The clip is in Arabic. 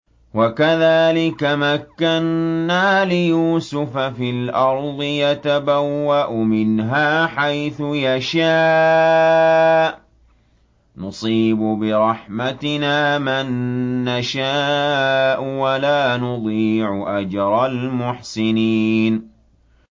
وَكَذَٰلِكَ مَكَّنَّا لِيُوسُفَ فِي الْأَرْضِ يَتَبَوَّأُ مِنْهَا حَيْثُ يَشَاءُ ۚ نُصِيبُ بِرَحْمَتِنَا مَن نَّشَاءُ ۖ وَلَا نُضِيعُ أَجْرَ الْمُحْسِنِينَ